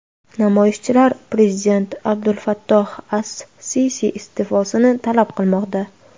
Namoyishchilar prezident Abdulfattoh as-Sisi iste’fosini talab qilmoqda.